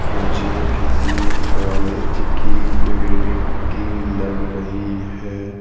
मुझे किसी कॉलेज की बिल्डिंग की लग रही है।